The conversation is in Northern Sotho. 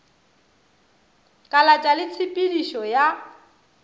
kalatša le tshe pedišo ya